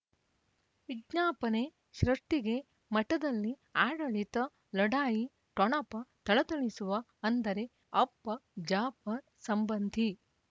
ವಿಜ್ಞಾಪನೆ ಸೃಷ್ಟಿಗೆ ಮಠದಲ್ಲಿ ಆಡಳಿತ ಲಢಾಯಿ ಠೊಣಪ ಥಳಥಳಿಸುವ ಅಂದರೆ ಅಪ್ಪ ಜಾಫರ್ ಸಂಬಂಧಿ